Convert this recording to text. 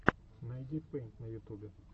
найди пэйнт на ютубе